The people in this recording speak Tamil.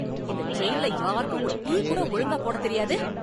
இந்த டிரைன்ல யாருக்கும் ஒரு டீ கூட ஒழுங்கா போடத் தெரியாது!